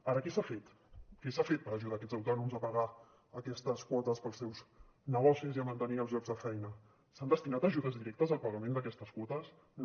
ara què s’ha fet què s’ha fet per ajudar aquests autònoms a pagar aquestes quotes per als seus negocis i a mantenir els llocs de feina s’han destinat ajudes directes al pagament d’aquestes quotes no